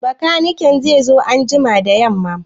Bakaniken zai zo gida anjima da yamma?